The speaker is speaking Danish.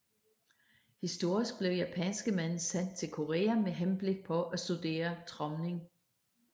Historisk blev japanske mænd sendt til Korea med henblik på at studere tromning